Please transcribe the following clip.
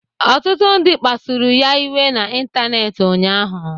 Ọtụtụ ndị mmadụ kpasụrụ ya iwe n'ịntanetị ụnyaahụ.